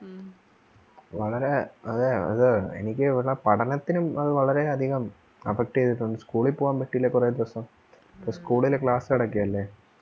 വളരെ അതെ അത് എനിക്കും എനിക്കു അത് പഠനത്തിനും അത് വളരെ അധികം affect ചെയ്‌തിട്ടുണ്ട്‌ school ൽ പോവാൻ പറ്റിയില്ല കുറെ ദിവസം school ൽ class നടക്കുവല്ലേ